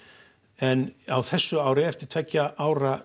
en á þessu ári eftir tveggja ára